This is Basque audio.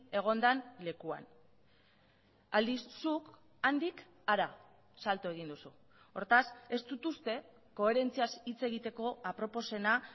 egon den lekuan aldiz zuk handik hara salto egin duzu hortaz ez dut uste koherentziaz hitz egiteko aproposena